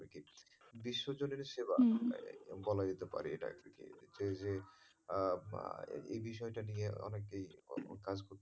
বিশ্ব জনের সেবা বলা যেতে পারে এটা আরকি যে, যে এই বিষয়টা নিয়ে অনেকেই কাজ গুলি,